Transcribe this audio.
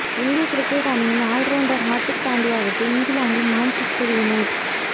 இந்திய கிரிக்கெட் அணியின் ஆல்ரவுண்டர் ஹர்திக் பாண்டியாவுக்கு இங்கிலாந்தின் மான்செஸ்டர் யுனைடெட்